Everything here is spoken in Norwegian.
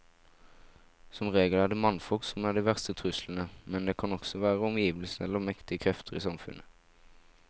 Som regel er det mannfolk som er de verste truslene, men det kan også være omgivelsene eller mektige krefter i samfunnet.